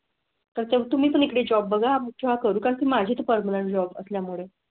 तर तुम्ही इकडे जॉब बघा आमच्या करून माझे पर्मनंट जॉब असल्यामुळे.